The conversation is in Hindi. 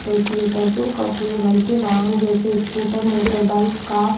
पड़ती है पेट्रोल का उपयोग हल्के वाहन जैसे स्कूटर मोटर बाइक ।